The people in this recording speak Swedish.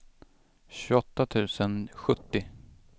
tjugoåtta tusen sjuttio